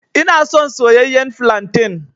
Ina son soyayyen flantain.